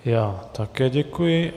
Já také děkuji.